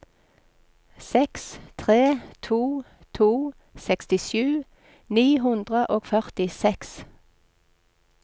seks tre to to sekstisju ni hundre og førtiseks